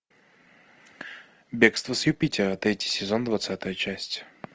бегство с юпитера третий сезон двадцатая часть